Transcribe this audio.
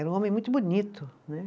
Era um homem muito bonito, né?